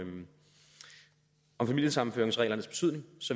om familiesammenføringsreglerne betydning